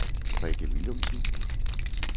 Rikke Willumsen